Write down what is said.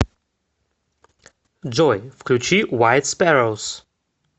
джой включи вайт спэроус